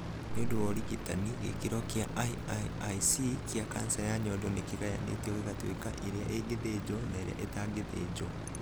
Nĩ ũndũ wa ũrigitani, gĩkĩro gĩa IIIC kĩa kanca ya nyondo nĩ kĩgayanĩtio gĩgatuĩka ĩrĩa ĩngĩthĩnjwo na ĩrĩa ĩtangĩthĩnjwo.